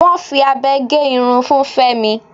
Wọ́n fi abẹ gé irun fun Fémi.